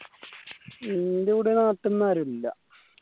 എന്റെ കൂടെ നാട്ടിന്ന് ആരൂല്ല